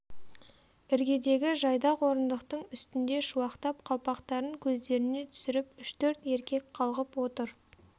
іргедегі жайдақ орындықтың үстінде шуақтап қалпақтарын көздеріне түсіріп үш-төрт еркек қалғып отыр